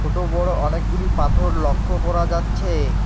ছোট বড় অনেকগুলি পাথর লক্ষ্য করা যাচ্ছে।